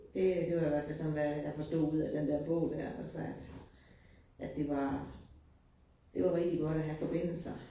Det det var i hvert fald sådan, hvad jeg forstod ud af den der bog dér, altså at at det var det var rigtig godt at have forbindelser